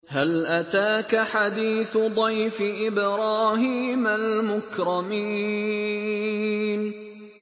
هَلْ أَتَاكَ حَدِيثُ ضَيْفِ إِبْرَاهِيمَ الْمُكْرَمِينَ